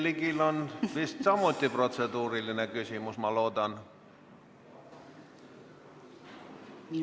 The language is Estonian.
Jürgen Ligil on vist samuti protseduuriline küsimus, ma loodan.